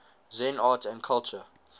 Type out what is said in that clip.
zen art and culture